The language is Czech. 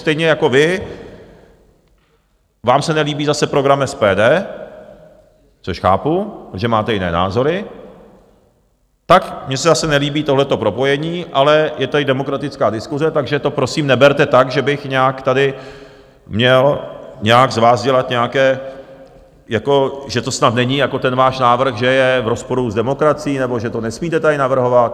Stejně jako vy, vám se nelíbí zase program SPD, což chápu, že máte jiné názory, tak mně se zase nelíbí tohleto propojení, ale je tady demokratická diskuse, takže to prosím neberte tak, že bych nějak tady měl nějak z vás dělat nějaké, jako že to snad není jako, ten váš návrh že je v rozporu s demokracií nebo že to nesmíte tady navrhovat.